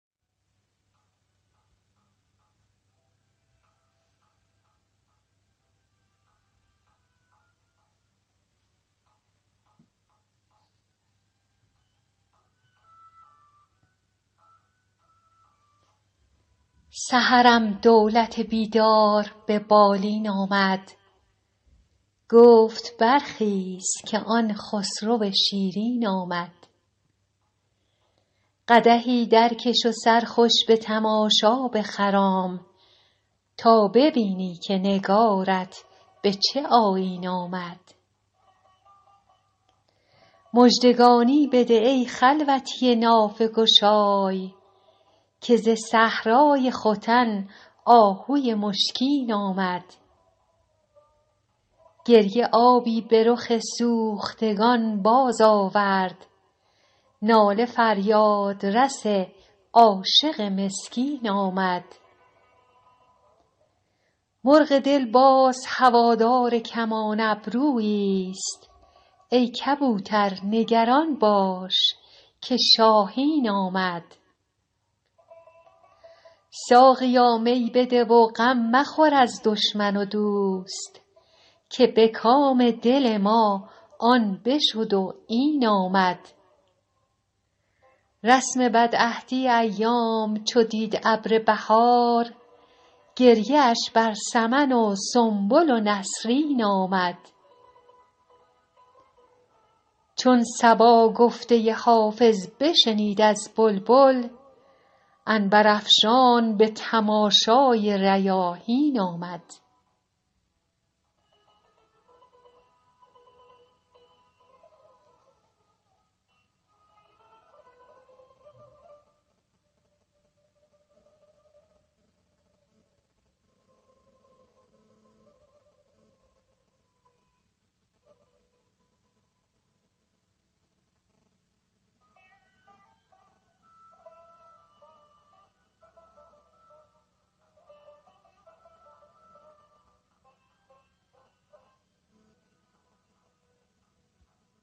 سحرم دولت بیدار به بالین آمد گفت برخیز که آن خسرو شیرین آمد قدحی درکش و سرخوش به تماشا بخرام تا ببینی که نگارت به چه آیین آمد مژدگانی بده ای خلوتی نافه گشای که ز صحرای ختن آهوی مشکین آمد گریه آبی به رخ سوختگان بازآورد ناله فریادرس عاشق مسکین آمد مرغ دل باز هوادار کمان ابروییست ای کبوتر نگران باش که شاهین آمد ساقیا می بده و غم مخور از دشمن و دوست که به کام دل ما آن بشد و این آمد رسم بدعهدی ایام چو دید ابر بهار گریه اش بر سمن و سنبل و نسرین آمد چون صبا گفته حافظ بشنید از بلبل عنبرافشان به تماشای ریاحین آمد